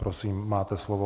Prosím, máte slovo.